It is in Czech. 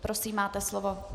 Prosím, máte slovo.